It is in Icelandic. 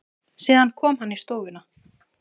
Síðan kom hann í stofuna.